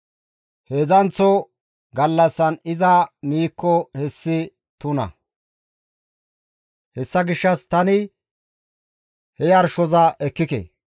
Heedzdzanththo gallassan iza miikko hessi tuna; hessa gishshas tani he yarshoza ekkike.